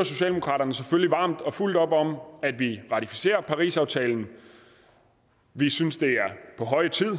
at socialdemokraterne selvfølgelig støtter varmt og fuldt op om at vi ratificerer parisaftalen vi synes det er på høje tid